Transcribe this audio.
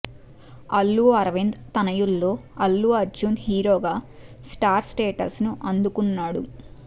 అల్లు అరవింద్ తనయుల్లో అల్లు అర్జున్ హీరోగా star status ను అందుకున్నాడు